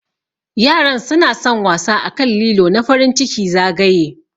Yaran suna San wasa akan lilo na farin ciki zagaye.